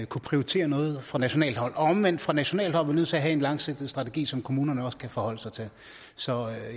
kunne prioritere noget fra nationalt hold omvendt fra nationalt hold nødt til at have en langsigtet strategi som kommunerne også kan forholde sig til så